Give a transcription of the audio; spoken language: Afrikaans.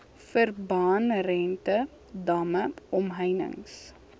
verbandrente damme omheinings